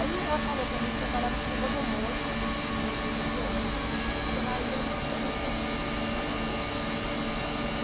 Aí ela falou para mim que trabalhava como rodomoça de uma empresa de ônibus e que ela ia mostrando os pontos turísticos do lugar.